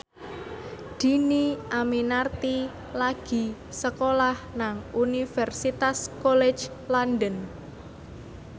Dhini Aminarti lagi sekolah nang Universitas College London